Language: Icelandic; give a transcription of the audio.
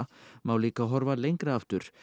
má líka horfa lengra aftur